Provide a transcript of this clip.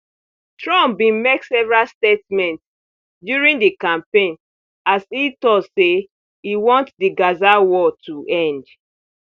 trump bin make several statements during di campaign as e tok say e want di gaza war to end